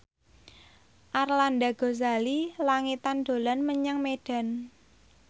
Arlanda Ghazali Langitan dolan menyang Medan